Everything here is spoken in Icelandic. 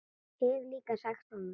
Hef líka sagt honum það.